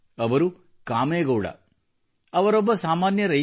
ಅವರು ಕಾಮೇಗೌಡ ಅವರೊಬ್ಬ ಸಾಮಾನ್ಯ ರೈತ